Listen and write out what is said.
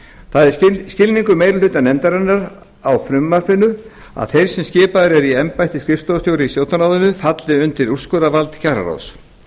það er skilningur meiri hluta nefndarinnar á frumvarpinu að þeir sem skipaðir eru í embætti skrifstofustjóra í stjórnarráðinu falli undir úrskurðarvald kjararáðs